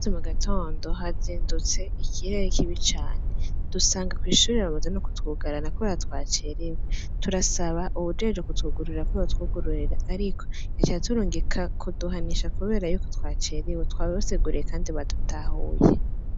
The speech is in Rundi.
E mu gatondo hazindutse ikihaye ikibi cane dusanga kw'ishurira bamoza no kutugarana ko batwacerewe turasaba uwujeje kutwugururira ko batwugururira, ariko yaca turungika kuduhanisha, kubera yuko twacereiwe twaboseguruye, kandi badutahuye.